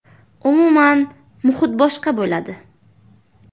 Umuman, muhit boshqa bo‘ladi.